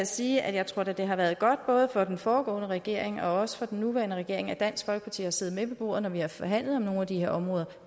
sige at jeg tror det har været godt både for den foregående regering og også for den nuværende regering at dansk folkeparti har siddet med ved bordet når vi har forhandlet om nogle af de her områder